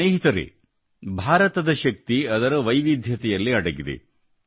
ಸ್ನೇಹಿತರೇ ಭಾರತದ ಶಕ್ತಿ ಅದರ ವೈವಿಧ್ಯತೆಯಲ್ಲಿ ಅಡಗಿದೆ